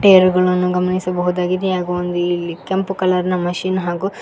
Tyre ಗಳನ್ನು ಗಮನಿಸಬಹುದಾಗಿದೆ ಹಾಗೂ ಇಲ್ಲಿ ಒಂದು ಕೆಂಪು ಕಲರ್ ಮಷೀನ್ ಹಾಗೂ.